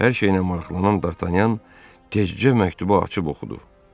Hər şeylə maraqlanan Dartanyan tezcə məktubu açıb oxudu.